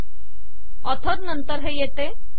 आणि ऑथर नंतर हे येते